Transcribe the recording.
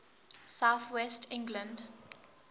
south west england